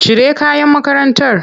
Cire kayan makarantar!